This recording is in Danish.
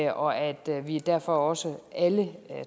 og at vi derfor også alle